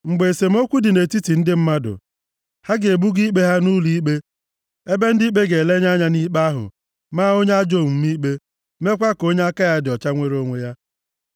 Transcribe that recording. Mgbe esemokwu dị nʼetiti ndị mmadụ, ha ga-ebuga ikpe ha nʼụlọikpe ebe ndị ikpe ga-elenye anya nʼikpe ahụ, maa onye ajọ omume ikpe, meekwa ka onye aka ya dị ọcha nwere onwe ya.